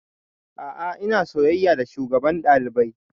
A'a ina soyayya da shugaban ɗalibai